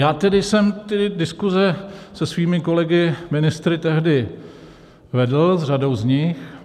Já tedy jsem ty diskuze se svými kolegy ministry tehdy vedl, s řadou z nich.